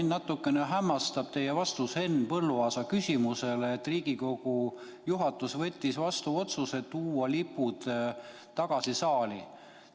Mind natuke hämmastab teie vastus Henn Põlluaasa küsimusele, et Riigikogu juhatus võttis vastu otsuse tuua lipud tagasi saali.